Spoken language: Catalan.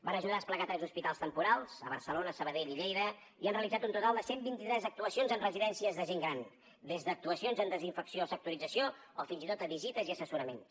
van ajudar a desplegar tres hospitals temporals a barcelona sabadell i lleida i han realitzat un total de cent i vint tres actuacions en residències de gent gran des d’actuacions en desinfecció sectorització o fins i tot visites i assessoraments